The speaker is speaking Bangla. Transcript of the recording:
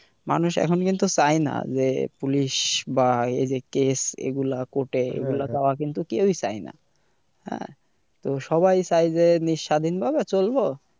মানুষ এখন কিন্তু চাইনা যে police বা এই যে case এগুলা court এগুলা যাওয়া কিন্তু কেউই চাই না হ্যাঁ তো সবাই চাই যে স্বাধীন ভাবে চলবো।